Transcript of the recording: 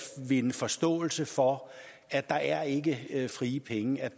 vinde forståelse for at der ikke er frie penge